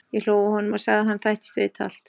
Ég hló að honum og sagði að hann þættist vita allt.